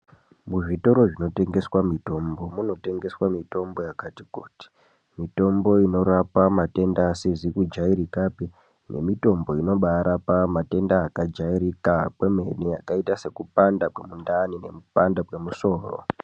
Muzvitoro zvinotengeswa mitombo munotengeswa mitombo yakati kuti. Mitombo inorapa matenda asizi kujairikapi nemitombo inobaarapa matenda akajairika kwemene akaita sekupanda kwemundani nekupanda kwemusoro.